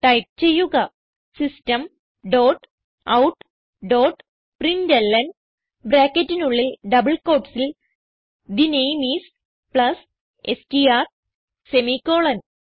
type ചെയ്യുക system dot out dot println ബ്രാക്കറ്റിനുള്ളിൽ double quotesൽ the name is plus S T R semicolon